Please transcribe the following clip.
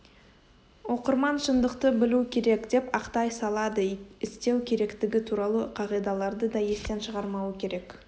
оқырман шындықты білу керек деп ақтай салады істеу керектігі туралы қағидаларды да естен шығармауы керек